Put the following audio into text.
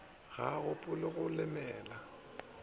ga a gopole go lemela